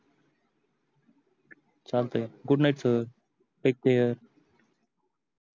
चालते